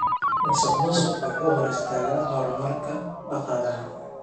Musuqmaasuqu wuxuu hor istaagaa horumarka dhaqaalaha.